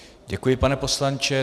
Děkuji, pane poslanče.